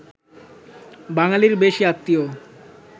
বাঙালির বেশি আত্মীয়